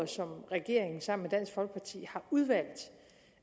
som regeringen sammen dansk folkeparti har udvalgt til